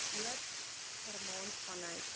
noord germaans vanuit